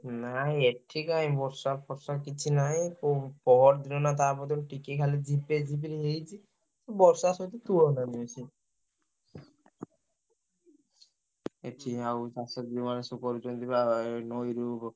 ନାଇଁ ଏଠି କାଇଁ ବର୍ଷା ଫର୍ଷା କିଛି ନାଇଁ ପୁ ପହରଦିନ ନା ତା ପରଦିନ ଟିକେ ଖାଲି ଝିପେ ଝିପିରି ହେଇଛି। ବର୍ଷା ସହିତେ ଏଠି ଆଉ ଚାଷ ଯୋଉମାନେ କରୁଛନ୍ତି ବା ଆ ନଈରୁ।